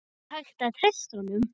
Er hægt að treysta honum?